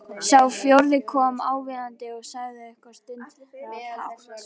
Sá fjórði kom aðvífandi og sagði eitthvað stundarhátt.